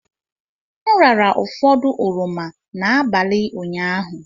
M rara ụfọdụ oroma n'abalị ụnyaahụ.